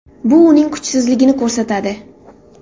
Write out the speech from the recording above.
Bu uning kuchsizligini ko‘rsatadi.